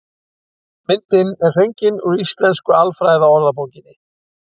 Myndin er fengin úr Íslensku alfræðiorðabókinni.